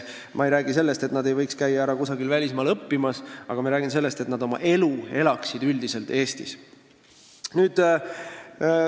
Ma ei räägi sellest, et nad ei võiks kusagil välismaal õppimas ära käia, ma räägin sellest, et nad elaksid üldiselt oma elu Eestis.